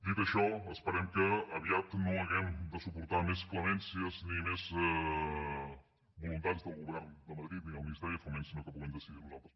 dit això esperem que aviat no hàgim de suportar més clemències ni més voluntats del govern de madrid ni del ministeri de foment sinó que puguem decidir nosaltres